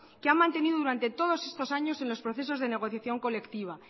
que han mantenido durante todos estos años en los procesos de negociación colectiva